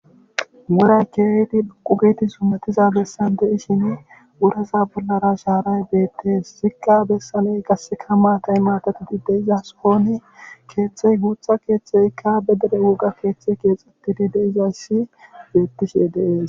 woray keehidi qugiti summetiza bessan deishin wurasa bollara shaaray beettees sikka bessaney gasseka maatay maatatidi deiza soon keexxey guutha keeththeykka be dere woga keeththey keexutidi deizassi beettishe dees